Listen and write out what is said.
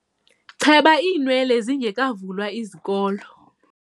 Cheba iinwele zingekavulwa izikolo.